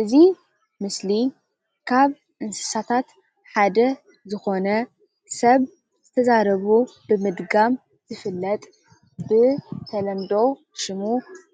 እዚ ምስሊ ካብ እንስሰታት ሓደ ዝኮነ ሰብ ዝተዛረቦ ብምድጋም ዝፍለጥ ብተለምዶ ሽሙ